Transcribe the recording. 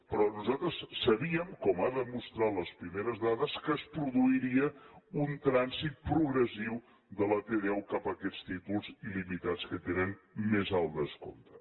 però nosaltres sabíem com han demostrat les primeres dades que es produiria un trànsit progressiu de la t deu cap a aquests títols il·limitats que tenen més alt descompte